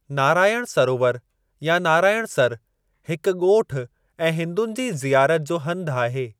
नारायण सरोवर या नाराइणसर हिकु ॻोठ ऐं हिंदुनि जी ज़ियारत जो हंधु आहे।